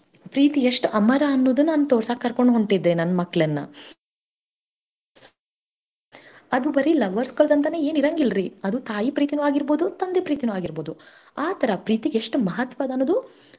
ಪ್ರೀತಿ ಎಷ್ಟ್ ಅಮರಾ ಅನ್ನೋದನ್ ನಾನ್ ತೋರ್ಸಕ್ ಕರ್ಕೊಂಡ ಹೊಂಟಿದ್ದೇ ನನ್ ಮಕ್ಳನ್ನ ಅದು ಬರೀ lovers ಗಳ್ದಂತ ಏನ್ ಇರಂಗಿಲ್ರೀ ತಾಯಿ ಪ್ರೀತೀನು ಆಗೀರ್ಬುದು ತಂದೆ ಪ್ರೀತೀನು ಆಗೀರ್ಬುದು ಆ ತರಾ ಪ್ರೀತಿಗ್ ಎಷ್ಟ್ ಮಹತ್ವ ಅದ ಅನ್ನೋದು.